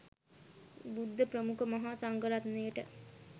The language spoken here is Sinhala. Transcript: බුද්ධ ප්‍රමුඛ මහ සංඝරත්නයට